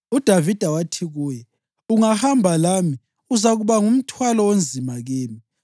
UDavida wathi kuye, “Ungahamba lami, uzakuba ngumthwalo onzima kimi.